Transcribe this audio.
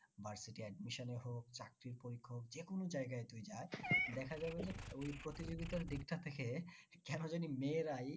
admission এর হোক চাকরির পরীক্ষা হোক যে কোনো জায়গায় যদি যায় দেখা যাবে যে ওই প্রতিযোগিতার দিকটা থেকে কেন জানি মেয়েরাই